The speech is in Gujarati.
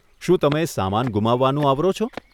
શું તમે સામાન ગુમાવવાનું આવરો છો?